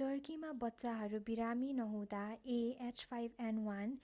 टर्कीमा बच्चाहरू बिरामी नहुँदा a h5n1